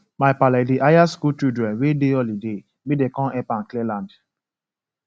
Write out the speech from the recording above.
my pale dey hire school children wey dey holiday make them come help am clear land